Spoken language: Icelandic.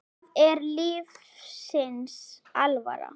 Það er lífsins alvara.